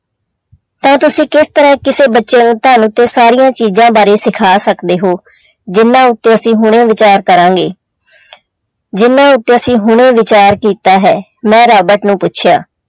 ਤੇ ਤੁਸੀਂ ਕਿਸ ਤਰ੍ਹਾਂ ਕਿਸੇੇ ਬੱਚੇ ਨੂੰ ਧਨ ਤੇ ਸਾਰੀਆਂ ਚੀਜ਼ਾਂ ਬਾਰੇ ਸਿਖਾ ਸਕਦੇ ਹੋ ਜਿਹਨਾਂ ਉੱਤੇ ਅਸੀਂ ਹੁਣੇ ਵਿਚਾਰ ਕਰਾਂਗੇ ਜਿਹਨਾਂ ਉੱਤੇ ਅਸੀਂ ਹੁਣੇ ਵਿਚਾਰ ਕੀਤਾ ਹੈ, ਮੈਂ ਰਾਬਟ ਨੂੰ ਪੁੱਛਿਆ।